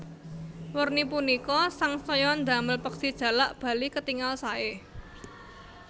Werni punika sangsaya ndamel peksi jalak bali ketingal saé